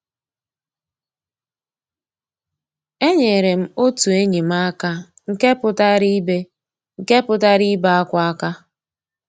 Ényéré m ótú ényí m àká nkè pụ́tárá ìbé nkè pụ́tárá ìbé ákwá àká.